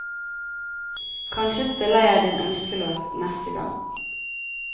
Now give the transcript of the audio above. Kanskje spiller jeg din ønskelåt neste gang.